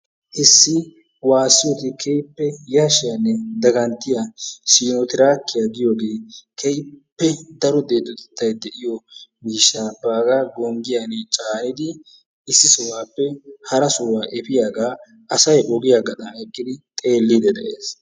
Issi waassiyode keehippe yashshiyanne Siinottiraakkiyo giyogee keehippe daro deexotettay de'iyo miishshaa baagaa gonggiyani caanidi issi sohuwappe hara sohuwa efiyagaa asay ogiya doonan eqqidi xeelliiddi de'ees.